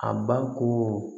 A ba ko